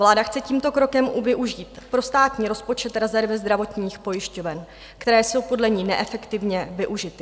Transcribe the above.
Vláda chce tímto krokem využít pro státní rozpočet rezervy zdravotních pojišťoven, které jsou podle ní neefektivně využity.